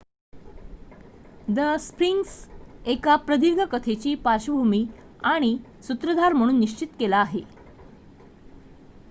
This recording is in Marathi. द स्फिंक्स एका प्रदीर्घ कथेची पार्श्वभूमी आणि सूत्रधार म्हणून निश्चित केला आहे